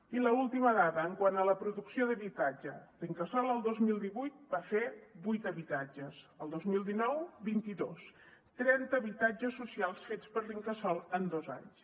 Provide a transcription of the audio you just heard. i l’última dada quant a la producció d’habitatge l’incasòl el dos mil divuit va fer vuit habitatges el dos mil dinou vint dos trenta habitatges socials fets per l’incasòl en dos anys